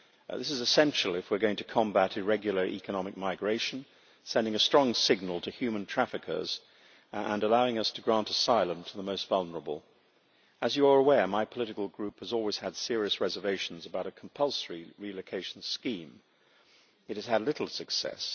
This is essential if we are going to combat irregular economic migration, sending a strong signal to human traffickers and allowing us to grant asylum to the most vulnerable. As you are aware, my political group has always had serious reservations about a compulsory relocation scheme. It has had little success.